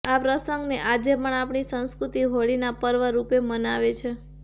આ પ્રસંગને આજે પણ આપણી સંસ્કૃતિ હોળીના પર્વ રૂપે મનાવે છે